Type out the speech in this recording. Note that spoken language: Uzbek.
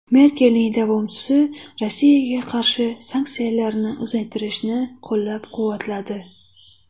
Merkelning davomchisi Rossiyaga qarshi sanksiyalarni uzaytirishni qo‘llab-quvvatladi.